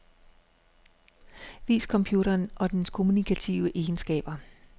Vis computeren og dens kommunikative egenskaber.